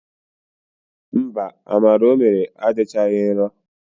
Mba, amala o mere adịchaghị nro.